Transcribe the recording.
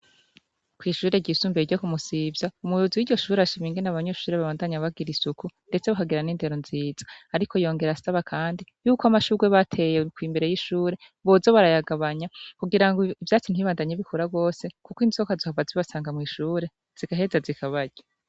Kw' ishure ryisumbuye ryo ku Musivya, umuyobozi w' ishuri arashima ingene abanyeshuri babandanya bagira isuku. Ndetse bakagira n' indero nziza. Yongera asaba kandi yuko amashurwe bateye imbere y' ishure boza barayagabanya kugira ivyatsi ntibibandanye bikura gose kuko inzoka zohava zibasanga mw' ishure, zigaheza zikabarya.